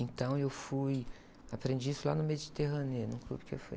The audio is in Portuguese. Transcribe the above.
Então eu fui, aprendi isso lá no Mediterrâneo, mesmo, num clube que eu fui.